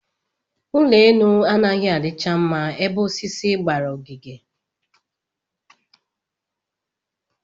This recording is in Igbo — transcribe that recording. Ụlọelu anaghị adịcha mma ebe osisi gbara ogige